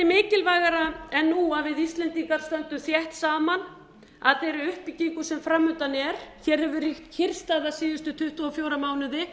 mikilvægara en nú að við íslendingar stöndum þétt saman að þeirri uppbyggingu sem fram undan er hér hefur ríkt kyrrstaða síðustu tuttugu og fjóra mánuði